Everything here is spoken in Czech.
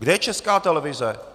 Kde je Česká televize?